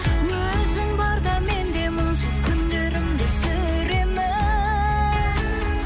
өзің барда мен де мұңсыз күндерімді сүремін